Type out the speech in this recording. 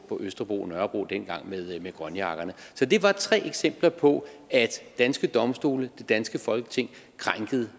østerbro og nørrebro dengang med grønjakkerne så det er bare tre eksempler på at danske domstole og det danske folketing krænkede